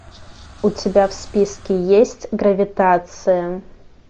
у тебя в списке есть гравитация